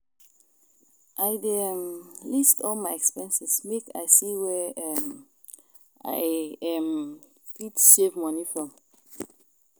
I dey um list all my expenses make I see where um I um fit save moni from.